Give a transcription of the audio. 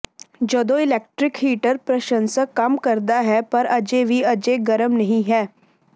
ਜਦੋਂ electric heater ਪ੍ਰਸ਼ੰਸਕ ਕੰਮ ਕਰਦਾ ਹੈ ਪਰ ਅਜੇ ਵੀ ਅਜੇ ਗਰਮੀ ਨਹੀਂ ਹੈ